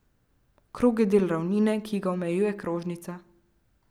Krog je del ravnine, ki ga omejuje krožnica.